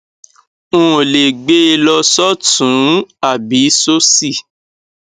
n ò lè gbé e lọ sọtún ún àbí sósì